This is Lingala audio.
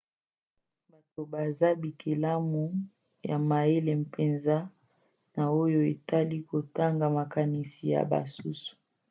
bato baza bikelamu ya mayele mpenza na oyo etali kotanga makanisi ya basusu